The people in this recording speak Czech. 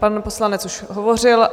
Pan poslanec už hovořil.